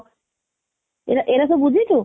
ଏରା ଏରା ସବୁ ବୁଝିଛୁ?